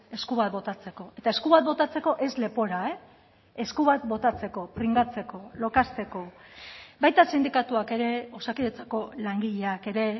esku bat botatzeko eta esku bat botatzeko ez lepora esku bat botatzeko pringatzeko lokazteko baita sindikatuak ere osakidetzako langileak ere